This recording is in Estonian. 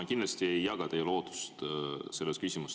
Ma kindlasti ei jaga teie lootust selles küsimuses.